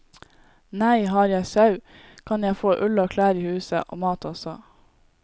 Nei, har jeg sau, kan jeg få ull og klær i huset, og mat også.